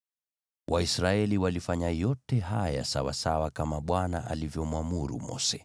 Waisraeli walifanya yote haya sawasawa kama Bwana alivyomwamuru Mose.